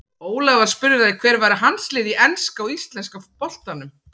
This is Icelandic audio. Ólafur var spurður að því hver væru hans lið í enska og íslenska boltanum.